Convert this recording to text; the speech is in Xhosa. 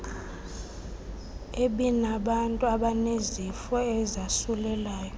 ebinabantu abanezifo ezasulelayo